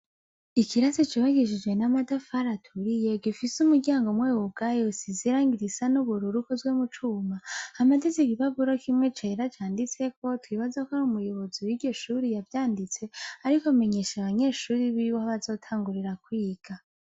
Ikirasi cubakishije n'amatafari aturiye gifise umuryango umwe wugaye usize irangi risa n'ubururu ukozwe mu cuma, hamaditse igipapuro kimwe cera canditseko, twibaza ko ari umuyobozi w'iryo shure yavyanditse ariko amenyesha abanyeshure biwe aho bazotangurira kwiga.